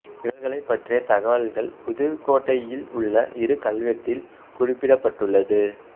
இவர்களைப் பற்றிய தகவல்கள் புதுக்கோட்டையில் உள்ள இரு கல்வெட்டில் குறிப்பிடப்பட்டுள்ளது